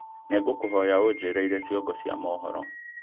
nĩ ngũkũhoya ũnjĩĩre irĩ ciongo cia mũhoro